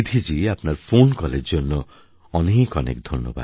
জী আপনার ফোন কলের জন্য অনেক অনেক ধন্যবাদ